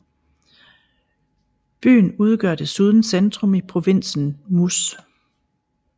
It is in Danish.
Byen udgør desuden centrum i provinsen Muş